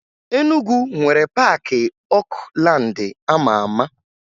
Enugwu nwere Paakị Okulaandị a ma ama